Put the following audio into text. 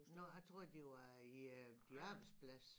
Nå jeg troede det var i øh din arbejdsplads